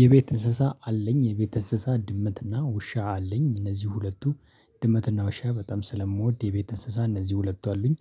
የቤት እንስሳ አለኝ። የቤት እንስሳ ድመትና ውሻ አለኝ። እነዚህ ሁለቱ ድመትና ውሻ በጣም ስለምወድ የቤት እንስሳ እነዚህ ሁለቱ አሉኝ፤